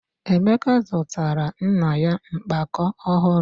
Emeka zụtara nna ya mkpakọ ọhụrụ.